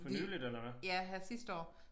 Fordi ja her sidste år